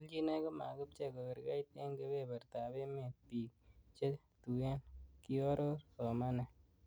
"Kelchinoik komakipchei kogergeit en kebebertab emetab bik che tuen,''kioror somanet